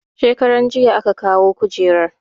Shekaranjiya aka kawo kujerar